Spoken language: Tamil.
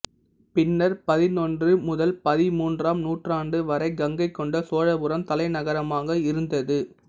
பின்னர் பதினொன்று முதல் பதிமூன்றாம் நூற்றாண்டு வரை கங்கைகொண்ட சோழபுரம் தலைநகரமாக இருந்தது